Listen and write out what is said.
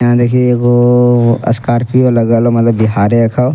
यहां देखि एगो अअ स्कार्पियो लगल हो मतलब बिहारेक हो।